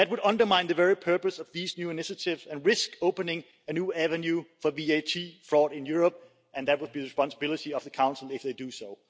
That would undermine the very purpose of these new initiatives and risk opening a new avenue for VAT fraud in Europe, and that would be the responsibility of the Council if they did so.